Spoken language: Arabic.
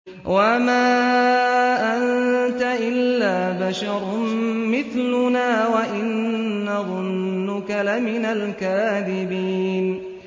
وَمَا أَنتَ إِلَّا بَشَرٌ مِّثْلُنَا وَإِن نَّظُنُّكَ لَمِنَ الْكَاذِبِينَ